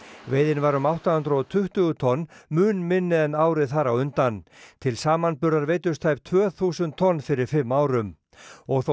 veiðin var um átta hundruð og tuttugu tonn mun minni en árið þar á undan til samanburðar veiddust tæp tvö þúsund tonn fyrir fimm árum og þó